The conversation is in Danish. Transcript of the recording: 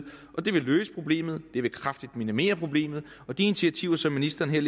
og de vil løse problemet de vil kraftigt minimere problemet de initiativer som ministeren her